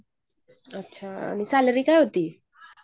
अच्छा, आणि सॅलरी काय होती?